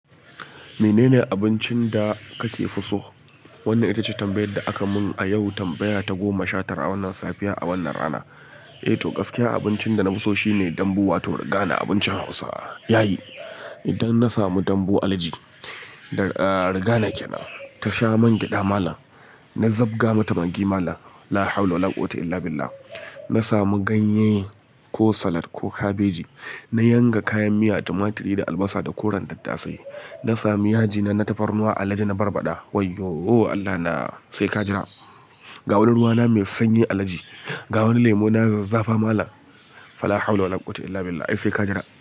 Menene abincin da kake so? Wannan ita ce tambayar da aka mun a yau. Tambaya ta goma shatar a wannan safiya, a wannan rana. Eh, to gaskiyar abincin da na fi so shine dambu wato riga na abincin Hausa. Yayi, idan na samu dambu, alhaji. Riga na ke nan. Ta sha man gyada malam. Na zabga mata maggi malam. La hawla wa la quwwata illa billah. Na samu ganye ko salat ko kabeji. Na yanka kayan miya, tumaturi da albasa da koren daddasai. Na sami yaji na tafarnuwa alhaji. Na barbaɗa. Wai yo! Allahna sai ka jira. Ga wani ruwa na mai sanyi alhaji. Ga wani lemu na maizafi malam. Fa la hawla wa la quwwata illa billah. Ai sai ka jira.